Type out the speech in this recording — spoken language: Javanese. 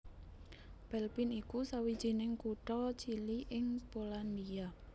Pelpin iku sawijining kutha cilik ing Polandia